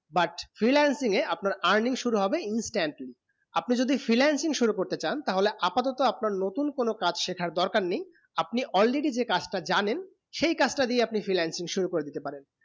but freelancing এ আপনার earning শুরু হবে instantley আপনি যদি freelancing শুরু করতে চান তা হলে আপাদত আপনার নতুন কোনো কাজ শেখার দরকার নেই আপনি already যে কাজ তা জানেন সেই কাজ তা দিয়ে আপনি freelancing শুরু করে দিতে পারেন